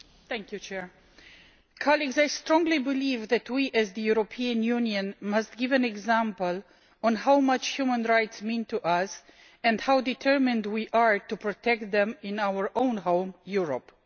Madam President, I strongly believe that we as the European Union must set an example of how much human rights mean to us and how determined we are to protect them in our own home, Europe.